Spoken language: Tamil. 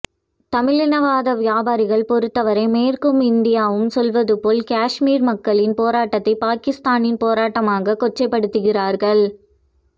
தமிழ் இனவாத வியாபாரிகளைப் பொறுத்த வரை மேற்கும் இந்தியாவும் சொல்வது போல கஷ்மீர் மக்களின் போராட்டத்தை பாக்கிஸ்தானின் போராட்டமாக கொச்சைப்படுத்துகிறார்கள்